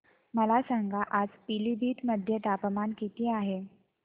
मला सांगा आज पिलीभीत मध्ये तापमान किती आहे